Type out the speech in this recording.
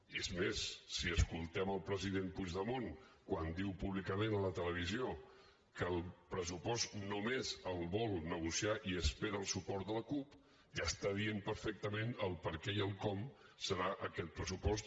i és més si escoltem el president puigdemont quan diu públicament a la televisió que el pressupost només el vol negociar i espera el suport de la cup ja està dient perfectament el perquè i el com serà aquest pressupost